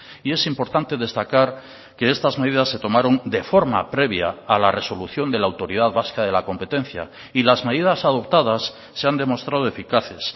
y es importante destacar que estas medidas se tomaron de forma previa a la resolución de la autoridad vasca de la competencia y las medidas adoptadas se han demostrado eficaces